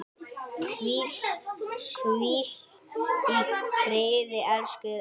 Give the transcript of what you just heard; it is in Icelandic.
Hvíl í friði, elsku Elsa.